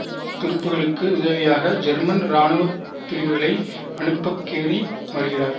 துருப்புக்களுக்கு உதவியாக ஜெர்மன் இராணுவ பிரிவுகளை அனுப்பக் கேரி வருகிறார்